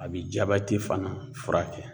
A bi fana furakɛ